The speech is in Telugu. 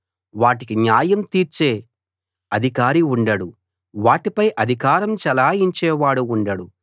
వాటికి న్యాయం తీర్చే అధికారి ఉండడు వాటిపై అధికారం చెలాయించేవాడు ఉండడు